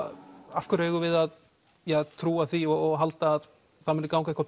af hverju eigum við að trúa því og halda að það muni ganga